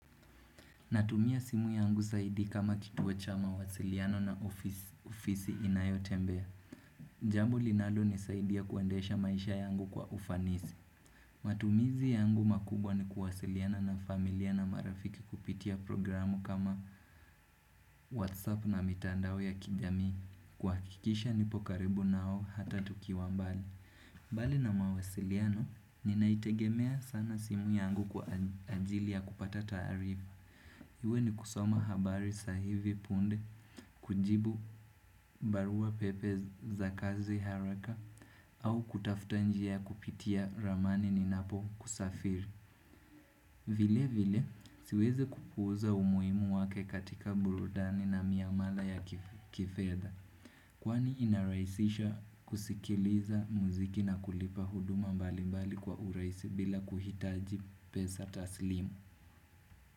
Natumia simu yangu zaidi kama kituo cha mawasiliano na ofisi inayotembea. Jambo linalonisaidia kuandesha maisha yangu kwa ufanisi. Matumizi yangu makubwa ni kuwasiliana na familia na marafiki kupitia programu kama WhatsApp na mitandao ya kijami. Kuhakikisha nipo karibu nao hata tukiwa mbali. Mbali na mawasiliano, ninaitegemea sana simu yangu kwa ajili ya kupata taarifa. Iwe ni kusoma habari sa hivi punde, kujibu barua pepe za kazi haraka, au kutafta njia kupitia ramani ninapokusafiri. Vile vile, siweze kupuza umuimu wake katika burudani na miamala ya kifedha. Kwani inaraisisha kusikiliza muziki na kulipa huduma mbalimbali kwa uraisi bila kuhitaji pesa taslimu.